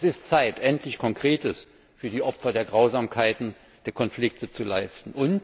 Es ist Zeit, endlich Konkretes für die Opfer der Grausamkeiten der Konflikte zu leisten.